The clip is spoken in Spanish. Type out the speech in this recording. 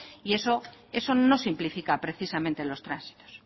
y eso no simplifica precisamente los tránsitos